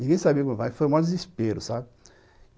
Ninguém sabia, mas foi um maior desespero, sabe?